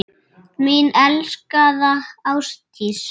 Mín elskaða Ásdís.